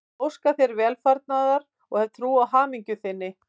Ég óska þér velfarnaðar og ég hef trú á hamingju þinni.